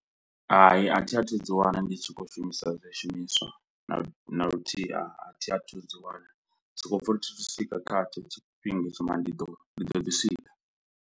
Hai, a thi a thu dzi wana ndi tshi khou shumisa zwishumiswa na naluthihi a thi a thu dzi wana, sokopfa ri thi thu swika kha tsho tshifhinga hetsho mara ndi ḓo ndi ḓo ḓi swika.